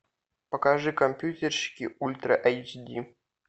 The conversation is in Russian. покажи компьютерщики ультра эйч ди